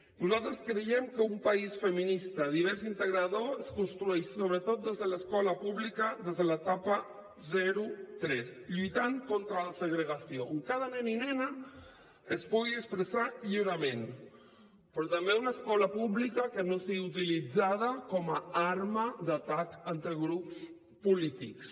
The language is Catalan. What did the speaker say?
nosaltres creiem que un país feminista divers i integrador es construeix sobretot des de l’escolta pública des de l’etapa zero tres lluitant contra la segregació on cada nen i nena es pugui expressar lliurement però també una escola pública que no sigui utilitzada com a arma d’atac entre grups polítics